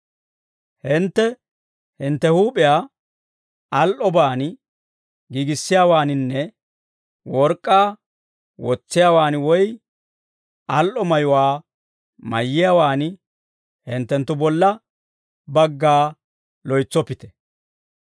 Hintte hintte huup'iyaa al"obaan giigissiyaawaaninne work'k'aa wotsiyaawaan woy al"o mayuwaa mayiyaawaan hinttenttu bolla bagga loytsoppite.